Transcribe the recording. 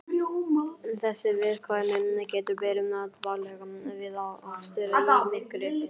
Þessi viðkvæmni getur verið bagaleg við akstur í myrkri.